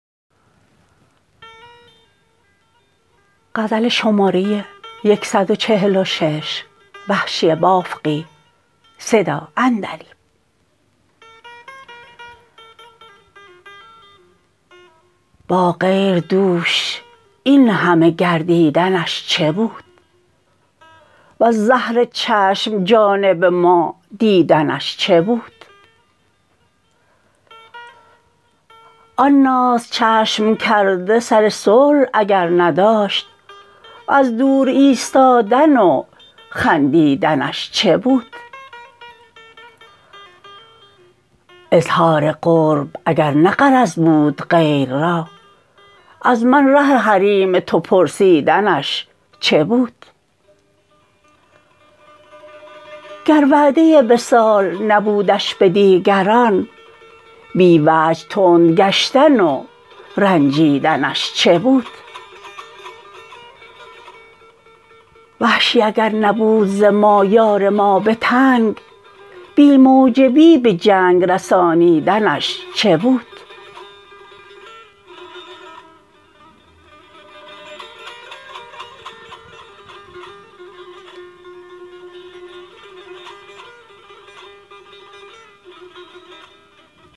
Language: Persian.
با غیر دوش اینهمه گردیدنش چه بود و ز زهر چشم جانب ما دیدنش چه بود آن ناز چشم کرده سر صلح اگر نداشت از دور ایستادن و خندیدنش چه بود اظهار قرب اگر نه غرض بود غیر را از من ره حریم تو پرسیدنش چه بود گر وعده وصال نبودش به دیگران بی وجه تند گشتن و رنجیدنش چه بود وحشی اگر نبود زما یار ما به تنگ بی موجبی به جنگ رسانیدنش چه بود